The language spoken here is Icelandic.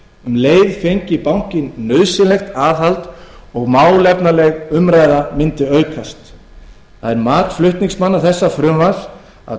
um leið fengi bankinn nauðsynlegt aðhald og málefnaleg umræða mundi aukast það er mat flutningsmanna þessa frumvarps að